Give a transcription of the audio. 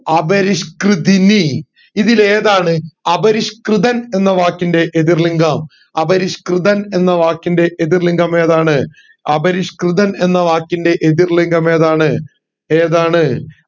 അപരിഷ്‌കൃതിനി ഇതിൽ ഏതാണ് അപരിഷ്‌കൃതൻ എന്ന വാക്കിന്റെ എതിർ ലിംഗം അപരിഷ്‌കൃതൻ എന്ന വാക്കിന്റെ എതിർ ലിംഗം ഏതാണ് അപരിഷ്‌കൃതൻ എന്ന വാക്കിന്റെ എതിർ ലിംഗം ഏതാണ് ഏതാണ്